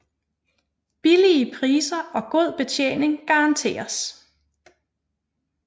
Billige Priser og god Betjening garanteres